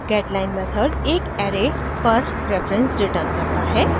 getline method एक array पर reference return करता है